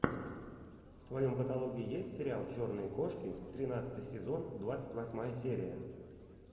в твоем каталоге есть сериал черные кошки тринадцатый сезон двадцать восьмая серия